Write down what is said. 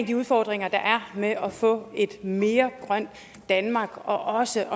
de udfordringer der er med at få et mere grønt danmark og også